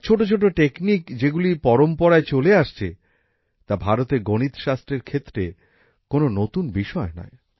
আর ছোট ছোট টেকনিক যেগুলি পরম্পরায় চলে আসছে তা ভারতের গণিত শাস্ত্রের ক্ষেত্রে কোন নতুন বিষয় নয়